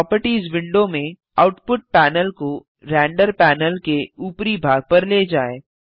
properties window में output panel को render panel के ऊपरी भाग पर ले जाएँ